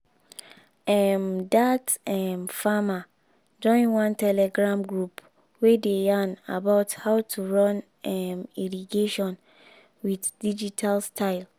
um that um farmer join one telegram group wey dey yarn about how to run um irrigation with digital style.